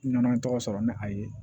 N nana n tɔgɔ sɔrɔ ni a ye